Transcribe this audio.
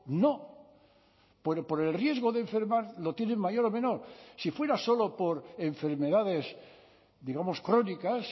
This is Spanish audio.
no por el riesgo de enfermar lo tienen mayor o menor si fuera solo por enfermedades digamos crónicas